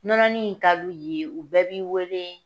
Nɔnɔnin in ka di u ye u bɛɛ b'i wele.